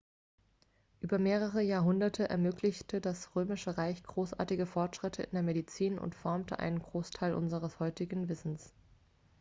über mehrere jahrhunderte ermöglichte das römische reich großartige fortschritte in der medizin und formte einen großteil unseres heutigen wissens